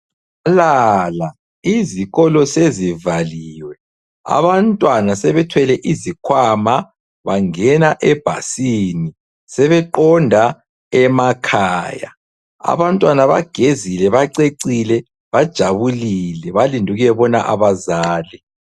Halala! izikolo sezivalilwe, abantwana sebethwele izikhwama bangena ebhasini, sebeqonda emakhaya. Abantwana bagezile, bacecile, bajabulile balinde ukuyabona abazali.